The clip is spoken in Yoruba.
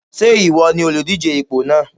Ṣé ìwọ ni olùdíje ipò náà?